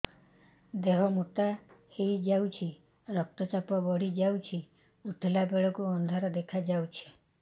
ଦେହ ମୋଟା ହେଇଯାଉଛି ରକ୍ତ ଚାପ ବଢ଼ି ଯାଉଛି ଉଠିଲା ବେଳକୁ ଅନ୍ଧାର ଦେଖା ଯାଉଛି